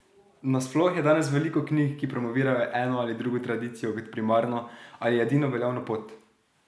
Nasploh je danes veliko knjig, ki promovirajo eno ali drugo tradicijo kot primarno ali edino veljavno pot.